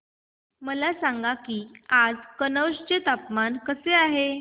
मला सांगा की आज कनौज चे हवामान कसे आहे